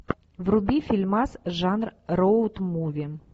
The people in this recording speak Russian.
вруби фильмас жанр роуд муви